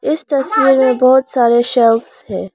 इस तस्वीर में बहोत सारे शख्स हैं।